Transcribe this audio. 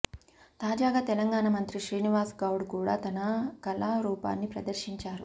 తాజాగా తెలంగాణ మంత్రి శ్రీనివాస్ గౌడ్ కూడా తన కళారూపాన్ని ప్రదర్శించారు